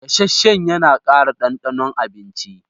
Gasasshen yana ƙara ɗanɗanon abinci.